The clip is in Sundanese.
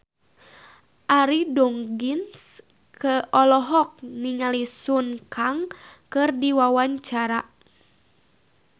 Arie Daginks olohok ningali Sun Kang keur diwawancara